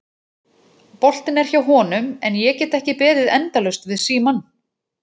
Boltinn er hjá honum en ég get ekki beðið endalaust við símann.